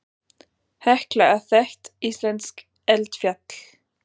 Hekla er þekkt íslenskt eldfjall.